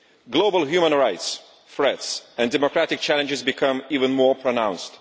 Global human rights threats and democratic challenges became even more pronounced.